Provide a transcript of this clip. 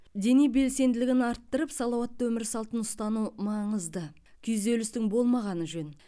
дене белсенділігін арттырып салауатты өмір салтын ұстану маңызды күйзелістің болмағаны жөн